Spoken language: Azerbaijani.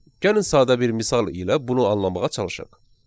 Gəlin sadə bir misal ilə bunu anlamağa çalışaq.